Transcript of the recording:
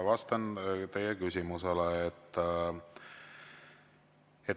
Vastan teie küsimusele.